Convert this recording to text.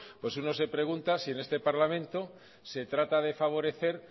pues uno se pregunta si en este parlamento se trata de favorecer